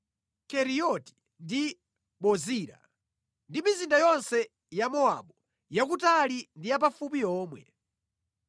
Keriyoti ndi Bozira ndi mizinda yonse ya Mowabu, yakutali ndi yapafupi yomwe.